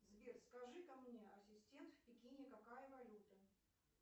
сбер скажи ка мне ассистент в пекине какая валюта